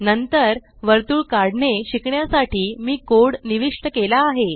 नंतर वर्तुळ काढणे शिकण्यासाठी मी कोड निविष्ट केला आहे